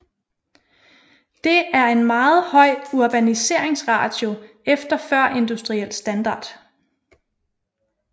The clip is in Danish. Det er en meget høj urbaniseringsratio efter førindustriel standard